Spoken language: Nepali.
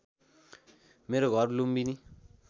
मेरो घर लुम्बिनी